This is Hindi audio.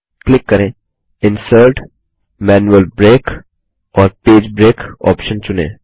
क्लिक करें इंसर्ट जीटीजीटी मैनुअल ब्रेक और पेज ब्रेक ऑप्शन चुने